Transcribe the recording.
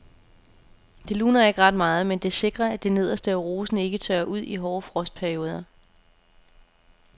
Det luner ikke ret meget, men det sikrer at det nederste af rosen ikke tørrer ud i hårde frostperioder.